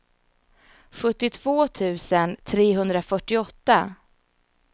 sjuttiotvå tusen trehundrafyrtioåtta